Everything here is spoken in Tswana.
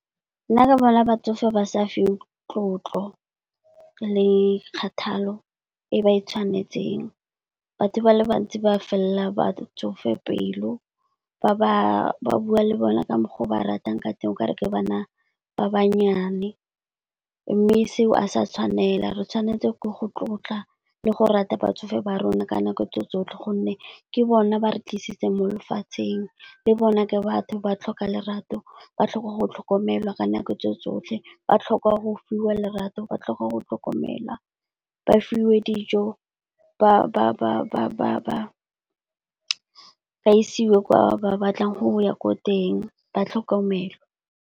Nna ke bona batsofe ba sa fiwe tlotlo le kgathalo e ba tshwanetseng, batho ba le bantsi ba felela batsofe pelo. Ba bua le bona ka mokgwa o ba ratang ka teng o kare ke bana ba bannyane. Mme seo a sa tshwanela re tshwanetse go go tlotla le go rata batsofe ba rona ka nako tse tsotlhe gonne ke bone ba re tlisitse mo lefatsheng. Le bona ke batho ba tlhoka lerato, ba tlhoka go tlhokomelwa ka nako tse tsotlhe, ba tlhoka go fiwa lerato, ba tlhoka go tlhokomelwa, ba fiwe dijo, ba isiwe kwa ba batlang go ya ko teng, ba tlhokomelwe.